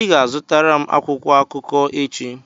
ị ga-azụtara m akwụkwọ akụkọ echi!